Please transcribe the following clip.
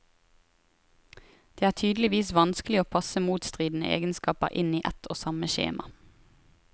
Det er tydeligvis vanskelig å passe motstridende egenskaper inn i ett og samme skjema.